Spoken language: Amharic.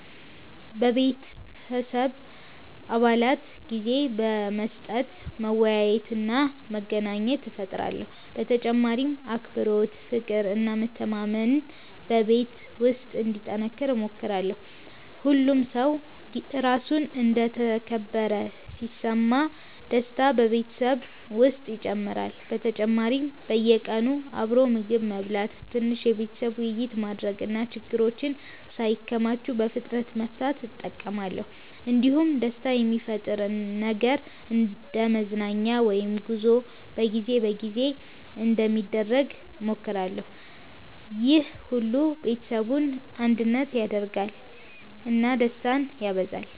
ለቤተሰቤ አባላት ጊዜ በመስጠት መወያየትና መዝናናት እፈጥራለሁ። በተጨማሪም አክብሮት፣ ፍቅር እና መተማመን በቤት ውስጥ እንዲጠናከር እሞክራለሁ። ሁሉም ሰው ራሱን እንደ ተከበረ ሲሰማ ደስታ በቤተሰብ ውስጥ ይጨምራል። በተጨማሪም በየቀኑ አብሮ ምግብ መብላት፣ ትንሽ የቤተሰብ ውይይት ማድረግ እና ችግሮችን ሳይከማቹ በፍጥነት መፍታት እጠቀማለሁ። እንዲሁም ደስታ የሚፈጥር ነገር እንደ መዝናኛ ወይም ጉዞ በጊዜ በጊዜ እንዲደረግ እሞክራለሁ። ይህ ሁሉ ቤተሰቡን አንድነት ያደርጋል እና ደስታን ያበዛል።